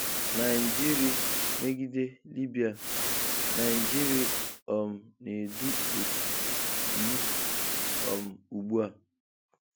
Naịjịrị megide Libya:Naịjịrị um na-edu otu ''E'' um ụgbụ a